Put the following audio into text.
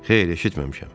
Xeyr, eşitməmişəm.